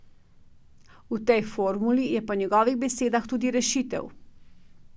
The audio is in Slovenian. V tej formuli je po njegovih besedah tudi rešitev.